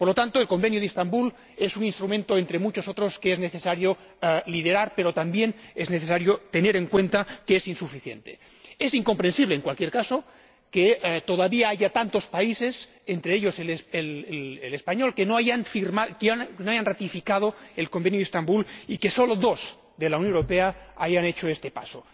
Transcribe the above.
Por lo tanto, el Convenio de Estambul es un instrumento, entre muchos otros, que es necesario liderar, pero también es necesario tener en cuenta que es insuficiente. Es incomprensible, en cualquier caso, que todavía haya tantos países, entre ellos España, que no hayan ratificado el Convenio de Estambul, y que solo dos de la Unión Europea hayan dado este paso.